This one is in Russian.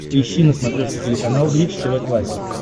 поищи на смотрешке телеканал бридж тв классик